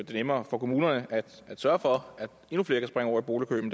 det nemmere for kommunerne at sørge for at endnu flere kan springe over i boligkøen